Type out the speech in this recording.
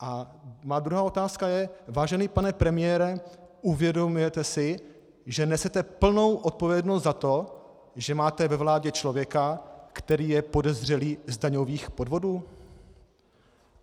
A má druhá otázka je: Vážený pane premiére, uvědomujete si, že nesete plnou odpovědnost za to, že máte ve vládě člověka, který je podezřelý z daňových podvodů?